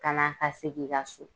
Ka na a sigi i ka so.